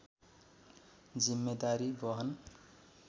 जिम्मेदारी वहन